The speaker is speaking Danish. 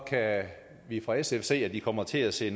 kan vi fra sfs side se at de kommer til at se